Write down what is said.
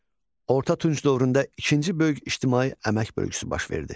Orta Tunc dövründə ikinci böyük ictimai əmək bölgüsü baş verdi.